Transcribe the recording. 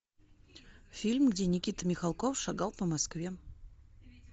фильм где никита михалков шагал по москве